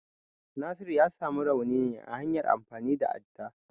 Nasiru ya samu rauni ne ta hanyar amfani da adda.